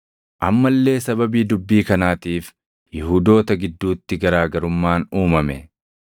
Amma illee sababii dubbii kanaatiif Yihuudoota gidduutti garaa garummaan uumame.